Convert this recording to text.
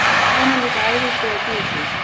Svona líka æðislega djúsí!